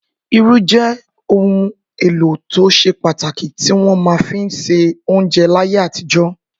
Irú jẹ́ ohun-èlò tó ṣe pàtàkì tí wọ́n fi máa ń se oúnjẹ láyé àtijọ́.